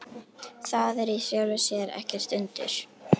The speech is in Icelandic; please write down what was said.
Það er í sjálfu sér ekkert undur.